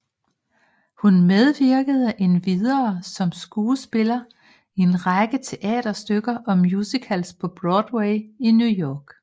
Hun medvirkede endvidere som skuespiller i en række teaterstykker og musicals på Broadway i New York